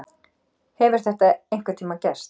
Hefur þetta einhvern tíma gerst?